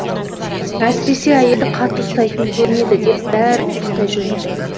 әсіресе әйелді қатты ұстайтын көрінеді деп бәрі қостай жөнелді